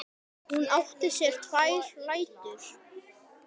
Hún átti sér tvær rætur.